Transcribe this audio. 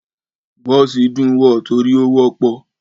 Bọ̀si dún wọ̀ tori ówọpọ̀